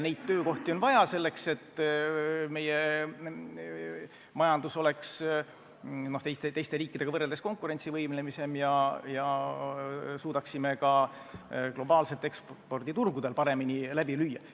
Neid töökohti on vaja selleks, et meie majandus oleks teiste riikidega võrreldes konkurentsivõimelisem ja me suudaksime ka globaalselt eksporditurgudel paremini läbi lüüa.